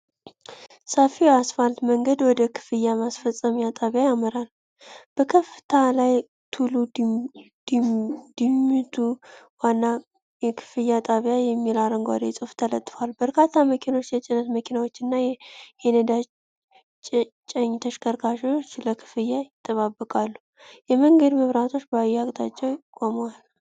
ሰፊው የአስፋልት መንገድ ወደ ክፍያ መፈጸሚያ ጣቢያ ያመራል። በከፍታ ላይ "ቱሉ ዲምቱ ዋና የክፍያ ጣቢያ" የሚል አረንጓዴ ጽሑፍ ተለጥፏል። በርካታ መኪኖች፣ የጭነት መኪናዎችና የነዳጅ ጫኝ ተሽከርካሪዎች ለክፍያ ይጠባበቃሉ። የመንገድ መብራቶች በየአቅጣጫው ቆመዋል።